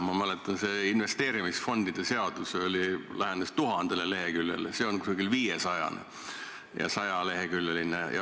Ma mäletan, et investeerimisfondide seaduse eelnõu lähenes tuhandele leheküljele, see siin on koos seletuskirjaga umbes viiesajaleheküljeline.